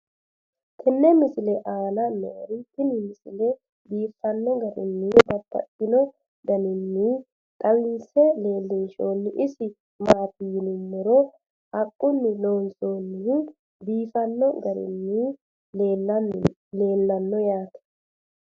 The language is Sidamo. tenne misile aana noorina tini misile biiffanno garinni babaxxinno daniinni xawisse leelishanori isi maati yinummoro haqqunni loonsoonnihu biiffanno garinni leellanno yaatte